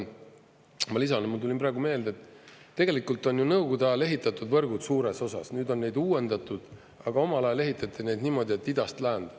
Ma lisan, et mul tuli praegu meelde, tegelikult on ju Nõukogude ajal ehitatud võrgud suures osas, nüüd on neid uuendatud, aga omal ajal ehitati neid niimoodi, et idast läände.